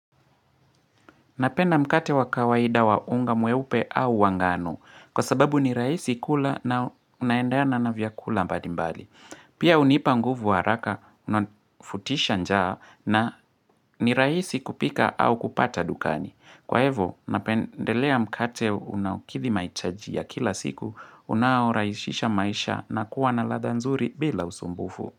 Napenda mkate wa kawaida wa unga mweupe au wa ngano kwa sababu ni raisi kula na unaendana na vyakula mbalimbali. Pia unipa nguvu haraka, unafutisha njaa na ni raisi kupika au kupata dukani. Kwa ivo, napendelea mkate unaokidhi mahitaji ya kila siku unaoraishisha maisha na kuwa na ladha nzuri bila usumbufu.